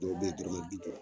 Dɔw be yen dɔrɔmɛ bi duuru .